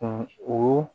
o